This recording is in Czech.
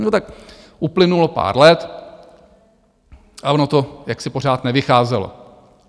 No tak uplynulo pár let a ono to jaksi pořád nevycházelo.